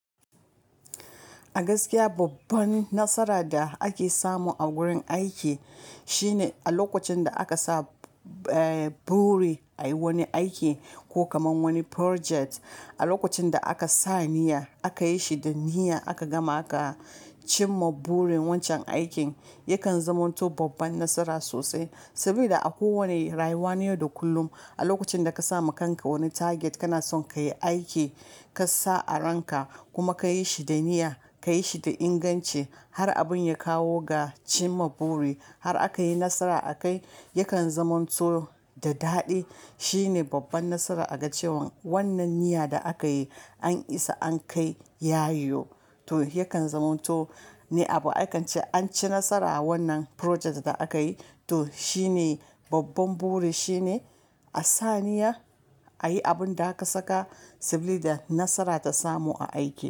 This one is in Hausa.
A gaskiya babban nasara da ake samu a wurin aiki shine a lokacin da aka sa buri a yi wani aiki ko kamar wani project. A lokacin da aka sa niyya aka yi shi da niyya aka gama aka cimma burin wancan aikin yakan zamanto babban nasara sosai. Saboda a kowane rayuwa na yau da kullum a lokacin da ka sa ma kanka wani target kana son ka yi aiki ka sa a ranka kuma ka yi shi da niyya, ka yi shi da inganci har abun ya kawo ga cimma buri har aka yi nasara a kai, yakan zamanto da daɗi. Shine babban nasara a ga cewan wannan niyya da aka yi an isa an kai ya yo to yakan zamanto ne abu akan ce an ci nasara wannan project da aka yi to shine babban buri shine a sa niyya ayi abin da ka saka sabida nasara ta samu a aiki.